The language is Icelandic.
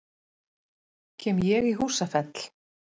Kem ég í Húsafell?